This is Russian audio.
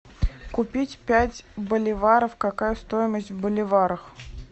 купить пять боливаров какая стоимость в боливарах